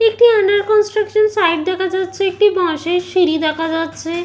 একটি under construction site দেখা যাচ্ছে একটি বাঁশের সিঁড়ি দেখা যাচ্ছে।